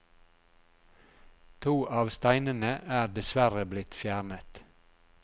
To av steinene er dessverre blitt fjernet.